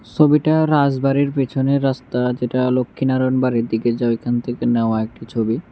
সবিটা রাজবাড়ীর পিছনের রাস্তা যেটা লক্ষীনারায়ণ বাড়ির দিকে যায় ওখান থেকে নেওয়া একটি ছবি।